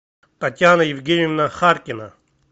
татьяна евгеньевна харкина